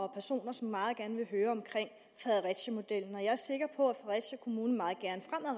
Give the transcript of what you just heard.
og personer som meget gerne ville høre om fredericiamodellen jeg er sikker på